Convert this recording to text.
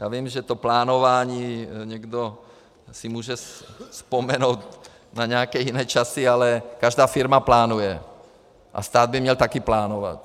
Já vím, že s plánováním někdo si může vzpomenout na nějaké jiné časy, ale každá firma plánuje a stát by měl také plánovat.